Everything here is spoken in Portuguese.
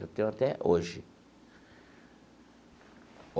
Eu tenho até hoje.